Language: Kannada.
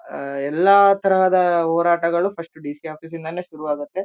ಆಆ ಎಲ್ಲ ತರಹದ ಹೋರಾಟಗಳು ಫಷ್ಟು ಡಿಸಿ ಆಫೀಸ್ ಇಂದಾನೆ ಶುರು ಆಗುತ್ತೆ.